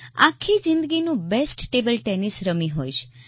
આખી જિંદગીનું best table tennis રમી હોઈશ